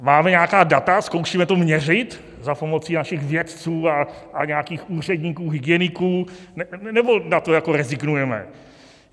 Máme nějaká data, zkoušíme to měřit za pomocí našich vědců a nějakých úředníků, hygieniků, nebo na to jako rezignujeme?